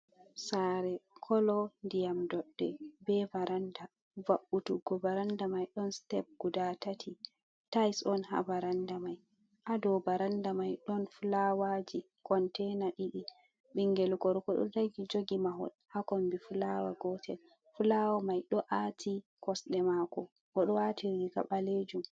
saare, kolo ndiyam doɗɗe bee varanda, va'utuggo varannda may don steb guda tati, Tise on haa varanda may, haa dow varannda may ɗon fulawaji konteina ɗiɗi, binngel gorko ɗo dari jogi mahol haa kombi fulaawa gotel, fulawa may ɗo aati kosɗe maako, o ɗo waati riiga ɓaleejum.